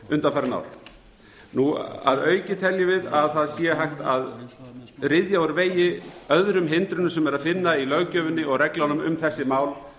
undanfarin ár að auki teljum við að það sé hægt að ryðja úr vegi öðrum hindrunum á er að finna í löggjöfinni og reglunum um þessi mál